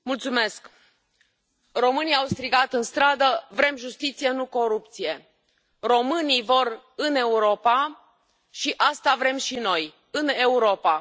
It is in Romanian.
Domnule președinte, românii au strigat în stradă Vrem justiție, nu corupție. Românii vor în Europa și asta vrem și noi în Europa.